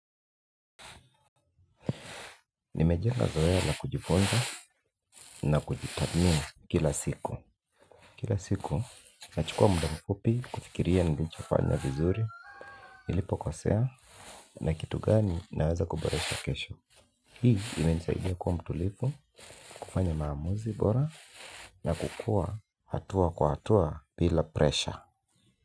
Nimejenga zoea na kujifunza na kujitadhmini kila siku. Kila siku nachukua muda mfupi kufikiria nilichofanya vizuri. Nilipokosea na kitu gani naweza kuboresha kesho. Hii imenisaidia kuwa mtulivu kufanya maamuzi bora na kukua hatua kwa hatua bila presha.